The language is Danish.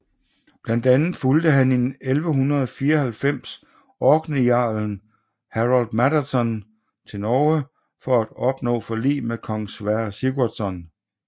Blandt andet fulgde han i 1194 orkneyjarlen Harald Maddadsson til Norge for at opnå forlig med kong Sverre Sigurdsson